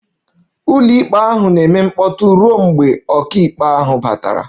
Ụlọikpe ahụ na-eme mkpọtụ ruo mgbe ọkàikpe ahụ batara